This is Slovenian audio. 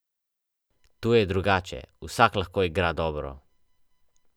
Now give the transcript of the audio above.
Tu je drugače, vsak lahko igra dobro.